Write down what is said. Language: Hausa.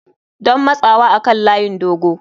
Don matsawa kan layin dogo.